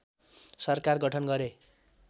सरकार गठन गरे